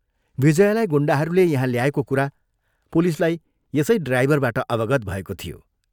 विजयालाई गुण्डाहरूले यहाँ ल्याएको कुरा पुलिसलाई यसै ड्राइभरबाट अवगत भएको थियो।